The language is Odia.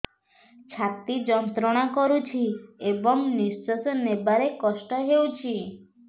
ଛାତି ଯନ୍ତ୍ରଣା କରୁଛି ଏବଂ ନିଶ୍ୱାସ ନେବାରେ କଷ୍ଟ ହେଉଛି